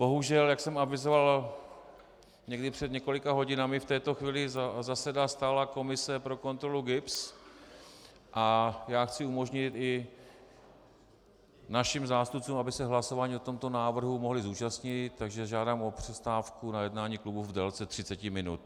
Bohužel, jak jsem avizoval někdy před několika hodinami, v této chvíli zasedá stálá komise pro kontrolu GIBS a já chci umožnit i našim zástupcům, aby se hlasování o tomto návrhu mohli zúčastnit, takže žádám o přestávku na jednání klubu v délce 30 minut.